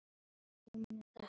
Síðast dreymdi mig þrjár kindur.